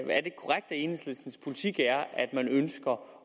enhedslistens politik er at man ønsker